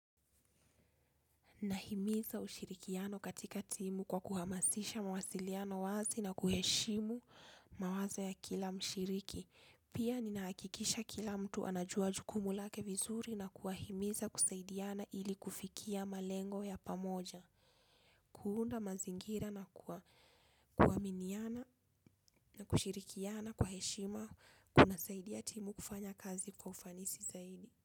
Nahimiza ushirikiano katika timu kwa kuhamasisha mawasiliano wazi na kuheshimu mawazo ya kila mshiriki. Pia ninahakikisha kila mtu anajua jukumu lake vizuri na kuwahimiza kusaidiana ili kufikia malengo ya pamoja. Kuunda mazingira na kuaminiana na kushirikiana kwa heshima kunasaidia timu kufanya kazi kwa ufanisi zaidi.